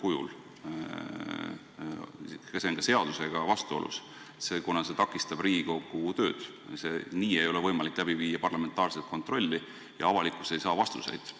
Ja see on ka seadusega vastuolus, kuna nii ei ole võimalik läbi viia parlamentaarset kontrolli ja avalikkus ei saa vastuseid.